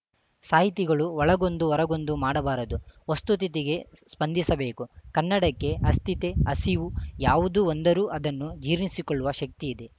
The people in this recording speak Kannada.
ಸಾಹಿತಿಗಳು ಒಳಗೊಂದು ಹೊರಗೊಂದು ಮಾಡಬಾರದು ವಸ್ತುತಿತಿಗೆ ಸ್ಪಂದಿಸಬೇಕು ಕನ್ನಡಕ್ಕೆ ಅಸ್ಥಿತೆ ಹಸಿವು ಯಾವುದು ಒಂದರೂ ಅದನ್ನು ಜೀರ್ಣಿಸಿಕೊಳ್ಳುವ ಶಕ್ತಿಯಿದೆ